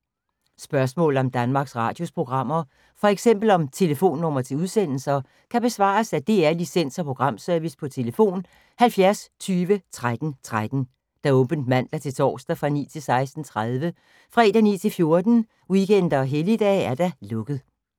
Spørgsmål om Danmarks Radios programmer, f.eks. om telefonnumre til udsendelser, kan besvares af DR Licens- og Programservice: tlf. 70 20 13 13, åbent mandag-torsdag 9.00-16.30, fredag 9.00-14.00, weekender og helligdage: lukket.